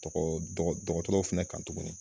Dɔgɔ dɔggɔtɔrɔw fɛnɛ kan tuguni.